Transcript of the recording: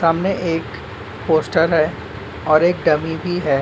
सामने एक पोस्टर है। और एक डमी भी है।